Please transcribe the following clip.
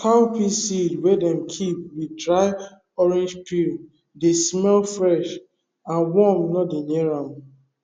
cowpea seed wey dem keep with dry orange peel dey smell fresh and worm no dey near am